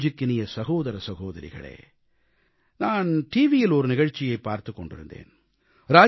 என் நெஞ்சுக்கினிய சகோதர சகோதரிகளே நான் டிவியில் ஒரு நிகழ்ச்சியைப் பார்த்துக் கொண்டிருந்தேன்